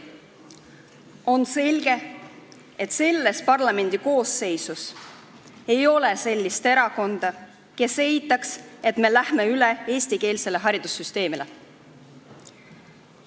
On selge, et selles parlamendikoosseisus ei ole sellist erakonda, kes eitaks, et me läheme üle eestikeelsele haridussüsteemile.